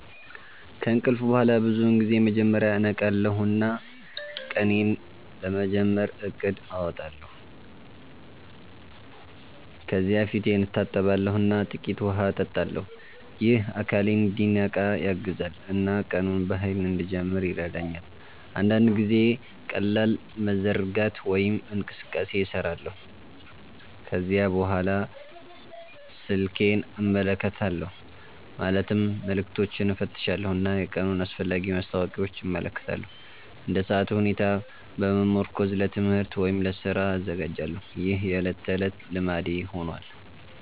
ከእንቅልፍ በኋላ ብዙውን ጊዜ መጀመሪያ እነቃለሁ እና ቀኔን ለመጀመር እቅድ አወጣለሁ። ከዚያ ፊቴን እታጠባለሁ እና ጥቂት ውሃ እጠጣለሁ። ይህ አካሌን እንዲነቃ ያግዛል እና ቀኑን በኃይል እንድጀምር ይረዳኛል። አንዳንድ ጊዜ ቀላል መዘርጋት ወይም እንቅስቃሴ እሰራለሁ። ከዚያ በኋላ ስልኬን እመለከታለሁ ማለትም መልዕክቶችን እፈትሻለሁ እና የቀኑን አስፈላጊ ማስታወቂያዎች እመለከታለሁ። እንደ ሰዓቱ ሁኔታ በመመርኮዝ ለትምህርት ወይም ለስራ እዘጋጃለሁ። ይህ የዕለት ተዕለት ልማዴ ሆኗል።